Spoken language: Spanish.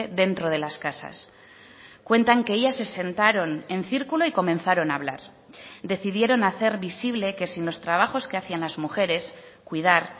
dentro de las casas cuentan que ellas se sentaron en círculo y comenzaron a hablar decidieron hacer visible que sin los trabajos que hacían las mujeres cuidar